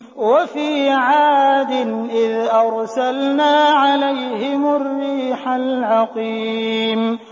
وَفِي عَادٍ إِذْ أَرْسَلْنَا عَلَيْهِمُ الرِّيحَ الْعَقِيمَ